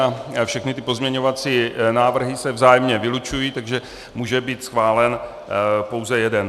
A všechny ty pozměňovací návrhy se vzájemně vylučují, takže může být schválen pouze jeden.